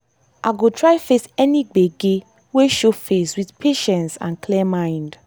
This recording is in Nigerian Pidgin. i go try face any gbege wey show face with patience and clear mind.